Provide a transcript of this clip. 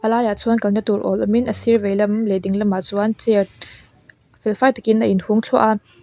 a laiah chuan kalna tur awl awmin a sir veilam leh dinglam ah chuan chair felfai takin a inhung thluah a.